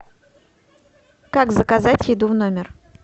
как заказать еду в номер